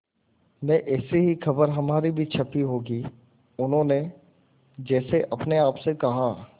में ऐसी ही खबर हमारी भी छपी होगी उन्होंने जैसे अपने आप से कहा